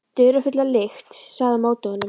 Dularfulla lykt lagði á móti honum.